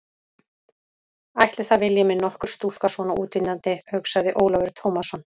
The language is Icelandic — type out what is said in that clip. Ætli það vilji mig nokkur stúlka svona útlítandi, hugsaði Ólafur Tómasson.